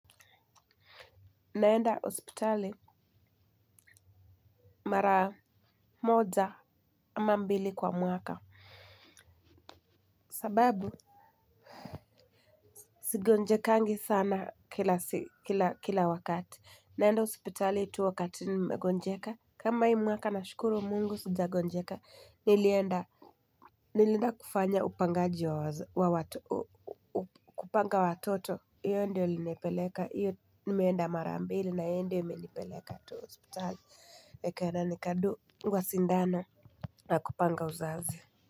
Naenda hosipitali mara moja ama mbili kwa mwaka. Sababu sigonjekangi sana kila wakati. Naenda hospitali tu wakati nimegonjeka. Kama hii mwaka na shukuru mungu sija gonjeka nilienda. Nilenda kufanya upangaji wa watoto. Hiyo ndio iliinipeleka hiyo nimeenda mara ambili na hiyo ndio imenipeleka tu hosipitali Mekena nikadungwa sindano yakupanga uzavi.